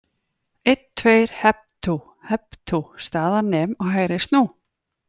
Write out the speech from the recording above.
Einn, tveir, hep tú, hep tú, staðar nem og hægri snú.